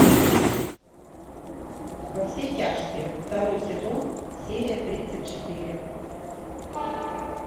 во все тяжкие второй сезон серия тридцать четыре